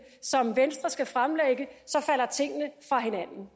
som venstre skal fremlægge falder tingene fra hinanden